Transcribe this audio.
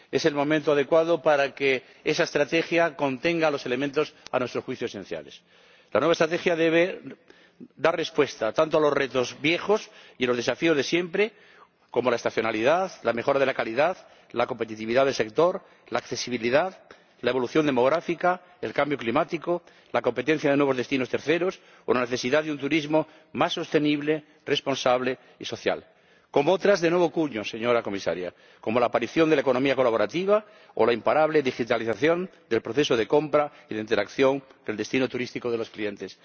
Es el momento adecuado para que esa estrategia contenga los elementos, a nuestro juicio, esenciales. La nueva estrategia debe dar respuesta tanto a los retos viejos y los desafíos de siempre —como la estacionalidad, la mejora de la calidad, la competitividad del sector, la accesibilidad, la evolución demográfica, el cambio climático, la competencia de nuevos destinos terceros o la necesidad de un turismo más sostenible, responsable y social—, como a otros de nuevo cuño, señora Comisaria —como la aparición de la economía colaborativa o la imparable digitalización del proceso de compra y de interacción con el destino turístico de los clientes—.